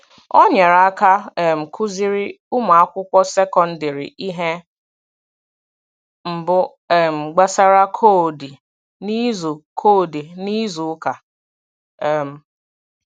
Ọ nyerè aka um kụ̀zìrí ụmụ̀akwụkwọ sekọndrị ihe mbù um gbasàrà kọdì n’izu kọdì n’izu ụka. um